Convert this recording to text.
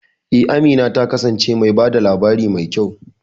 E, Amina ta kasance mai ba da labari mai kyau.